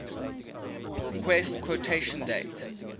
request quotation date